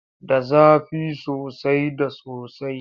Da zafi soasai da sosai.